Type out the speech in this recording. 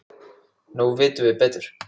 Nú vitum við betur.